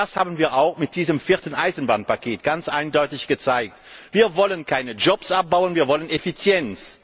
Das haben wir auch mit diesem vierten Eisenbahnpaket ganz eindeutig gezeigt Wir wollen keine Jobs abbauen, wir wollen Effizienz!